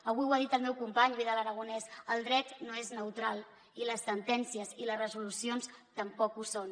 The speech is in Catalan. avui ho ha dit el meu company vidal aragonés el dret no és neutral i les sentències i les resolucions tampoc ho són